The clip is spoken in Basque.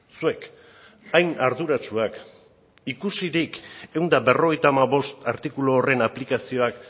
zuek hain arduratsuak ikusirik ehun eta berrogeita hamabost artikulu horren aplikazioak